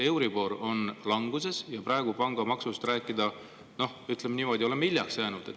Euribor on languses ja kui praegu pangamaksust rääkida, siis ütleme niimoodi, et me oleme sellega hiljaks jäänud.